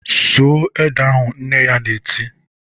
"Sụọ ede ahụ!" Nne ya na-eti